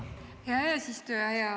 Hea eesistuja!